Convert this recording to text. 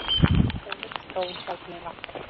Ólík þróun gjaldmiðla